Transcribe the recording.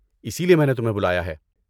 اسی لیے میں نے تمہیں بلایا ہے۔